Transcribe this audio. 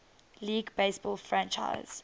league baseball franchise